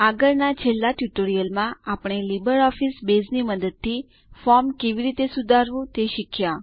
આગળના છેલ્લા ટ્યુટોરીયલમાં આપણે લીબરઓફીસ બેઝની મદદથી ફોર્મ કેવી રીતે સુધારવું તે શીખ્યા